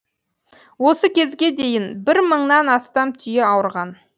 осы кезге дейін бір мыңнан астам түйе ауырған